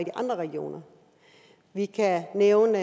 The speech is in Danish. andre regioner vi kan nævne